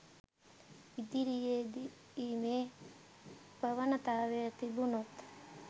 ඉදිරියේදී මේ ප්‍රවණතාවය තිබුණොත්